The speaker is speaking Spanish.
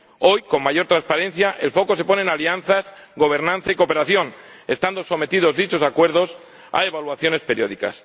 hoy, con mayor transparencia, el foco se pone en alianzas, gobernanza y cooperación, estando sometidos dichos acuerdos a evaluaciones periódicas.